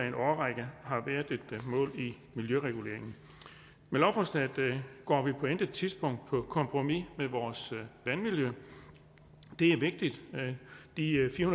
en årrække har været et mål i miljøreguleringen med lovforslaget går vi på intet tidspunkt på kompromis med vores vandmiljø det er vigtigt de fire